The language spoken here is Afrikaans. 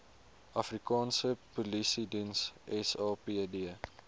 afrikaanse polisiediens sapd